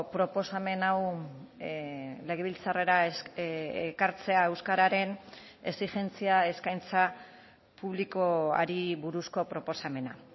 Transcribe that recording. proposamen hau legebiltzarrera ekartzea euskararen exigentzia eskaintza publikoari buruzko proposamena